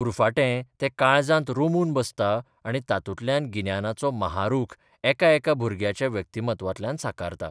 उरफाटें तें काळजांत रोमून बसता आनी तातूंतल्यान गिन्यानाचो महारूख एका एका भुरग्याच्या व्यक्तिमत्वांतल्यान साकारता.